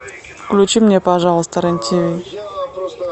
включи мне пожалуйста рен тв